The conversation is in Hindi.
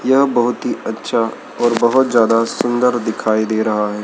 यह बहुत ही अच्छा और बहुत ज्यादा सुंदर दिखाई दे रहा है।